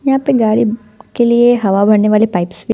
यहाँ पर गाड़ी के लिए हवा भरने वाले पाइप्स भी--